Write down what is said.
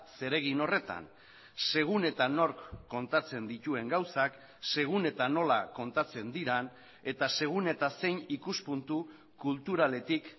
zeregin horretan segun eta nork kontatzen dituen gauzak segun eta nola kontatzen diren eta segun eta zein ikuspuntu kulturaletik